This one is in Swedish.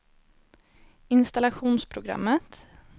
installationsprogrammet